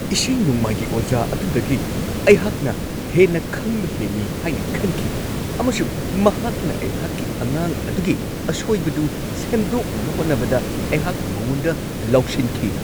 ꯏꯁꯩ-ꯅꯣꯡꯃꯥꯏꯒꯤ ꯑꯣꯖꯥ ꯑꯗꯨꯗꯒꯤ ꯑꯩꯍꯥꯛꯅ ꯍꯦꯟꯅ ꯈꯪꯕ ꯍꯦꯜꯂꯤ ꯍꯥꯏꯅ ꯈꯟꯈꯤ ꯑꯃꯁꯨꯡ ꯃꯍꯥꯛꯅ ꯑꯩꯍꯥꯛꯀꯤ ꯑꯉꯥꯡ ꯑꯗꯨꯒꯤ ꯑꯁꯣꯏꯕꯗꯨ ꯁꯦꯝꯗꯣꯛꯅꯕ ꯍꯣꯠꯅꯕꯗ ꯑꯩꯍꯥꯛꯅ ꯃꯉꯣꯟꯗ ꯂꯥꯎꯁꯤꯟꯈꯤ ꯫